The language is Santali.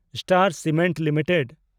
star Cement limited